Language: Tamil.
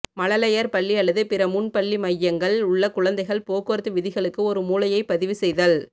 மழலையர் பள்ளி அல்லது பிற முன் பள்ளி மையங்கள் உள்ள குழந்தைகள் போக்குவரத்து விதிகளுக்கு ஒரு மூலையை பதிவு செய்தல்